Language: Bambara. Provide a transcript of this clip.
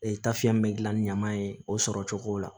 tafiyɛn min bɛ gilan ni ɲama ye o sɔrɔ cogo la